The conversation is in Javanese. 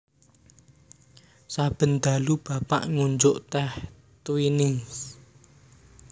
Saben dalu Bapak ngunjuk teh Twinings